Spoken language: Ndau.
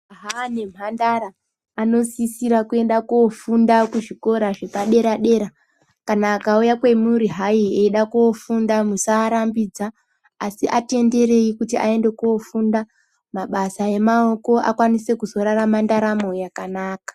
Majaya nemhandara anosisirwa kofunda kuzvikora zvepadera dera kana akauya kwemuri hai eida kofunda musarambidza asi atenderei kuti aende kofunda mabasa emaoko akwanise kuzorarama ndaramo yakanaka.